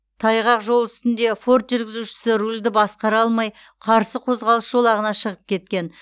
таңғақ жол үстінде форд жүргізушісі рульді басқара алмай қарсы қозғалыс жолағына шығып кеткен